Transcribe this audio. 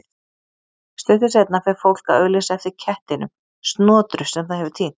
Stuttu seinna fer fólk að auglýsa eftir kettinum Snotru sem það hefur týnt.